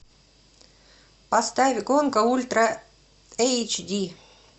поставь гонка ультра эйч ди